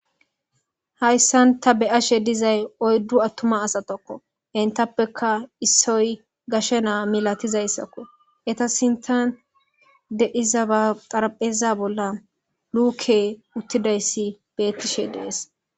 Hayisani ta beyashe dizayi oyiddu atuma asatakko enitappekka issoyi gashshe na milatizayisakko eyita sinththani deiza xaraphpheza bola luke utidayisi betishe deesi